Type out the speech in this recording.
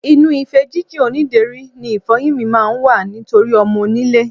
Inú ife jínjìn onídèéri ni ìfo̩yín mi máa ń wà nítorí o̩mo̩-onílé.